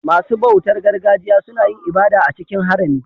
Masu bautar gargajiya suna yin ibada a cikin harami.